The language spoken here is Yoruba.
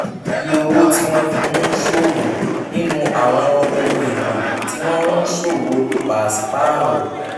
iye owó tí wọ́n fi ń ṣòwò nínú àwọn ohun èlò tí wọ́n ń ṣòwò paṣipaarọ